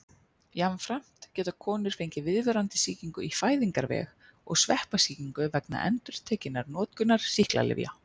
Jafnframt geta konur fengið viðvarandi sýkingu í fæðingarveg og sveppasýkingu vegna endurtekinnar notkunar sýklalyfja.